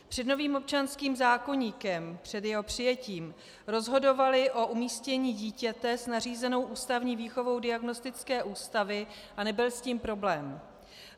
Před novým občanským zákoníkem, před jeho přijetím, rozhodovaly o umístění dítěte s nařízenou ústavní výchovou diagnostické ústavy a nebyl s tím problém.